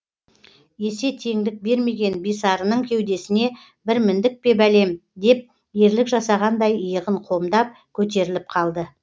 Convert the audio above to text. есе теңдік бермеген бисарының кеудесіне бір міндік пе бәлем деп ерлік жасағандай иығын қомдап көтеріліп қалды